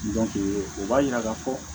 o b'a yira ka fɔ